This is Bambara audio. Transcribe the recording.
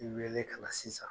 I weele kana sisan